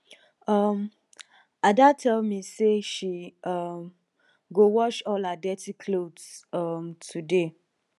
um ada tell me say she um go wash all her dirty cloths um today